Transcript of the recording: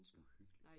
Uhyggeligt